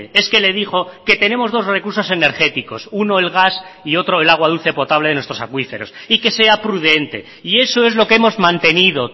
es que le dijo que tenemos dos recursos energéticos uno el gas y otro el agua dulce potable de nuestros acuíferos y que sea prudente y eso es lo que hemos mantenido